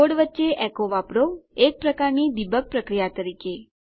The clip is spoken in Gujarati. કોડ વચ્ચે એકો વાપરો એક પ્રકારની ડીબગ પ્રક્રિયા તરીકે